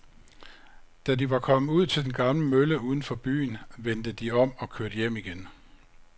Da de var kommet ud til den gamle mølle uden for byen, vendte de om og kørte hjem igen.